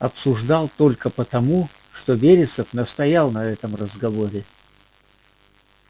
обсуждал только потому что вересов настоял на этом разговоре